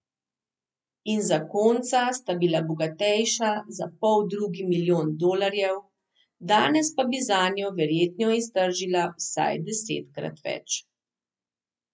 In zakonca sta bila bogatejša za poldrugi milijon dolarjev, danes pa bi zanjo verjetno iztržila vsaj desetkrat več.